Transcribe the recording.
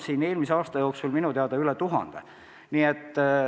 Eelmise aasta jooksul tehti neid minu teada üle tuhande.